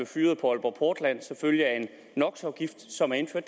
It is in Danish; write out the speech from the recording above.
fyret på aalborg portland som følge af en nox afgift som er indført